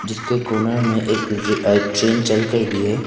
जिसके कॉर्नर में एक ट्रेन चलकर भी है।